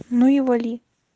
ну и вали